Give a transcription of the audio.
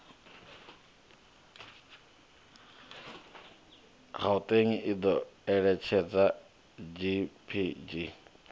gauteng i do eletshedza gpg